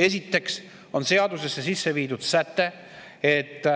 Esiteks on sisse viidud säte, et